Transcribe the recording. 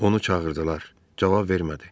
Onu çağırdılar, cavab vermədi.